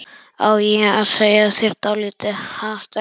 Á ég að segja þér dálítið, ha, stelpa?